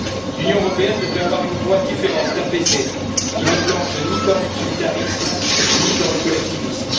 L'Union européenne devrait avoir une voix différente, apaisée, qui ne plonge ni dans l'utilitarisme, ni dans le collectivisme.